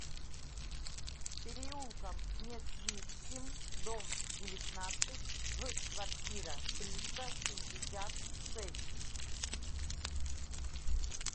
переулком несвижским дом девятнадцать в квартира триста шестьдесят шесть